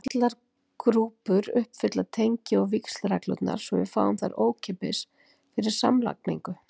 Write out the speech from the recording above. Allar grúpur uppfylla tengi- og víxlreglurnar, svo við fáum þær ókeypis fyrir samlagningu.